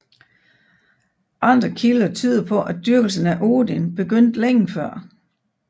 Andre kilder tyder på at dyrkelsen af Odin begyndte længe før